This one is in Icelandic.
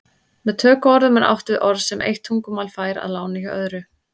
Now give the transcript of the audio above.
Með tökuorðum er átt við orð sem eitt tungumál fær að láni hjá öðru.